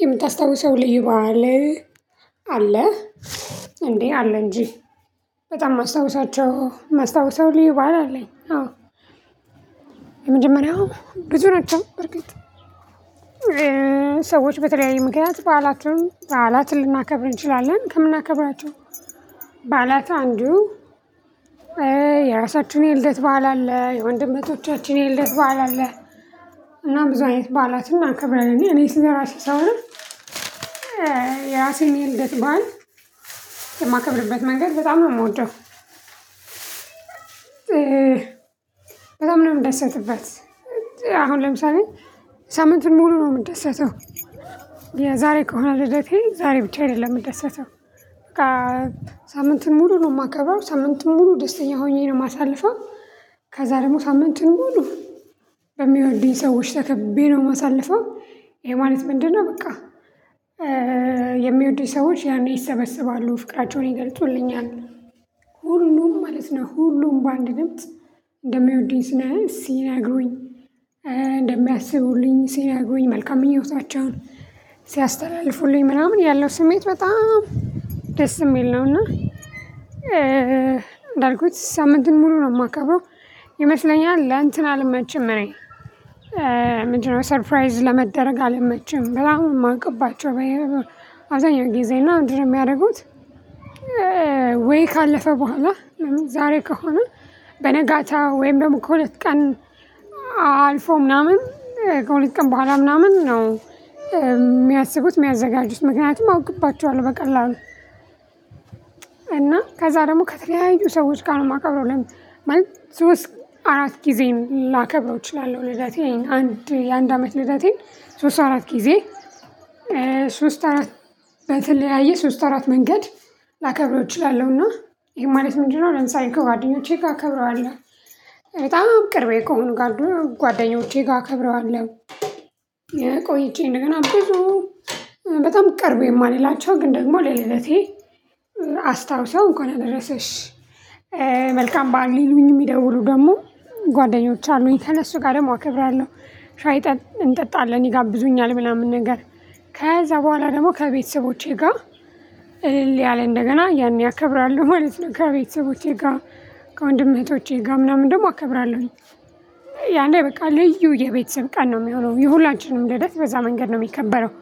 የምታስታውሰው ልዩ በዓል አለ እንዴ አለ እንጂ በጣም ማስታውሳቸው ማስታወሰው ልዩ በዓል አለኝ። አዎ የመጀመሪያው ብዙ ናቸው። በርግጥ ሰዎች በተለያየ ምክንያት በዓላቸውን በዓላትን ልናከብር እንችላለን ከምናከብራቸው በዓላት አንዱ። የራሳችሁን የልደት በዓል አለ የወንድም እህቶቻችን የለደት በዓል አለ። እና ብዙ አይነት በዓላትም እናከብራለን እኔ ስለራሴ ሳወራ ነው። የራሴን የልደት በዓል የማከብርበትን መንገድ በጣም ነው የምወደው። በጣም ነው የምደሰትበት። አሁን ለምሳሌ ሳምንትን ሙሉ ነው የምንደሰተው። የዛሬ ከሆነ ልደቴ ዛሬ ብቻ አይደለም የምንደሰተው። ሳምንቱን ሙሉ ነው የማከበረው ሳምንቱን ሙሉ ደስተኛ ሆኜ ነው የማሳልፈው። ከዛ ደግሞ ሳምንትን ሙሉ በሚወዱኝ ሰዎች ተከብቤ ነው የማሳልፈው። ይሄ ማለት ምንድነው? በቃ የሚወዱኝ ሰዎች ያኔ ይሰበስባሉ ፍቅራቸውን ይገልጹልኛል። ሁሉም ማለት ነው ሁሉም በአንድ ድምጽ እንደሚወድኝ ስናየው ሲነግሩኝ እንደሚያስቡልኝ ሲነግሩኝ መልካም ምኞታቸውን ሲያስተላልፉልኝ ምናምን ያለው ስሜት በጣም የሚል ነው። እና አንዳልኩት ሳምንቱን ሙሉ ነው የማከብረው። ይመስለኛል ለእንትን አልመችም እኔ። ምንድነው ሰርፕራይዝ ለመደረግ አልመችም። በጣም ነው የማውቅባቸው በይ አብዛኛው ጊዜ እና ምንድን ነው የሚያደርጉት? ወይ ካለፈ በኋላ ዛሬ ከሆነ በነጋታ ወይም ደግሞ ከሁለት ቀን አልፎ ምናምን ከሁለት ቀን በኋላ ምናምን ነው። የሚያስቡት የሚያዘጋጁት ምክንያቱም አውቅባቸዋል በቀላሉ። እና ከዛ ደግሞ ከተለያዩ ሰዎች ጋር ነው የማከብረው። ለምን ሶስት አራት ጊዜም ላከብረው እችላለው። ልደቴን አንድ የአንድ አመት ልደቴን ሶስት አራት ጊዜ ሶስት አራት በተለያየ ሶስት አራት መንገድ። ላከብረው እችላለሁና ይሄ ማለት ምንድነው ለምሳሌ ከጓደኞቼ ጋር እከብረዋለሁ። በጣም ቅርቤ ከሆነ ጋር ጓደኞቼ ጋር እከብረዋለሁ። ቆይቼ እንደገና ብዙ በጣም ቅርቡ የማልላቸው ግን ደግሞ ለልደቴ አስታውሰው እንኳን አደረስሽ። መልካም በዓል ሊሉኝ የሚደውሉ ደግሞ ጓደኞች አሉኝ ከእነሱ ጋር ደግሞ አከብራለሁ። ሻይ እንጠጣለን ይጋብዙኛል ምናምን ነገር ከዛ በኋላ ደግሞ ከቤተሰቦቼ ጋር ሌያል እንደገና ያኔ ያከብራለሁ ማለት ነው። ከቤተሰቦቼ ጋር ከወንድም እህቶቼ ጋር ምናምን ደግሞ አከብራለሁኝ። ያኔ በቃ ልዩ የቤተሰብ ቀን ነው የሚሆነው የሁላንችንም ልደት በዛ መንገድ ነው የሚከበረው።